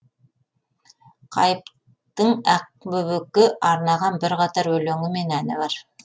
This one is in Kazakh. қайыптың ақбөбекке арнаған бірқатар өлеңі мен әні бар